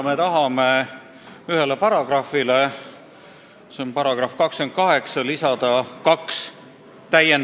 Me tahame ühele paragrahvile, see on § 28, lisada kaks uut lõiget.